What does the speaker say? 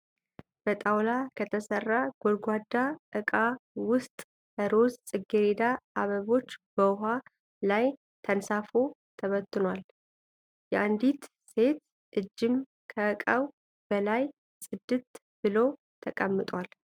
በጣውላ ከተሠራ ጎድጓዳ እቃ ዉስጥ ሮዝ ጽጌሬዳ አበቦች በዉሃ ላይ ተንሳፎ ተበትኗል። የአንዲት ሴት እጅም ከእቃው በላይ ጽድት ብሎ ተቀምጧል።